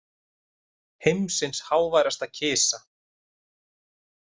Heimsins háværasta kisa